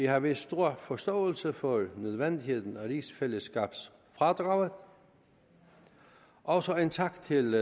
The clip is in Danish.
har vist stor forståelse for nødvendigheden af rigsfællesskabsfradraget også en tak til